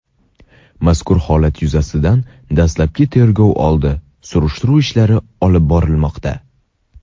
Mazkur holat yuzasidan dastlabki tergov oldi surishtiruv ishlari olib borilmoqda.